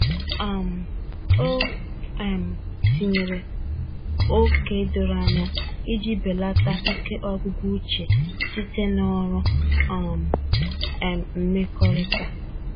um O um tinyere ókè doro anya iji belata ike ọgwụgwụ uche site na ọrụ um um mmekọrịta.